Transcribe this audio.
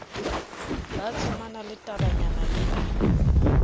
ba tsomana le tabanyana le